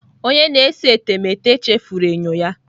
Onye na-ese etemeete chefuru enyo ya.